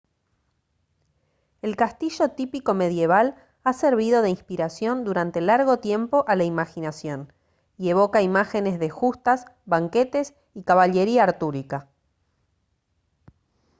el castillo típico medieval ha servido de inspiración durante largo tiempo a la imaginación y evoca imágenes de justas banquetes y caballería artúrica